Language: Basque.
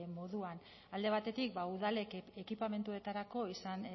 moduan alde batetik ba udalek ekipamenduetarako izan